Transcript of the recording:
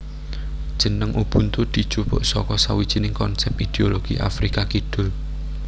Jeneng Ubuntu dijupuk saka sawijining konsèp ideologi Afrika Kidul